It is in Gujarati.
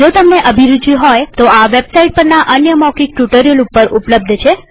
જો તમને અભિરુચિ હોય તોતે આ વેબસાઈટ પરના અન્ય મૌખિક ટ્યુ્ટોરીઅલ ઉપર ઉપલબ્ધ છે